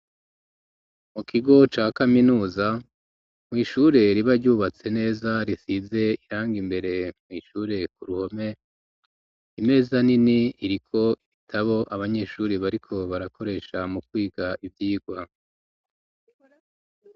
Mu kigo ca kaminuza mw'ishure riba ryubatse neza risize irangi imbere mw'ishure ku ruhome imeza nini iriko ibitabo abanyeshuri bariko barakoresha mu kwiga ivyigwa.